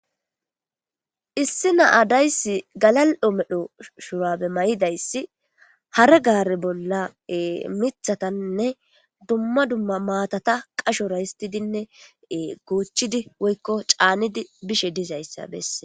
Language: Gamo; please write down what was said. Issi na7a daysi galal7o medho shurabe may7idayssi hare gaare bolla mithataninne dumma dumma maatata qashora histidinne goochidi woykko caanidi bishe dizayssa besees.